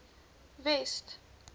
west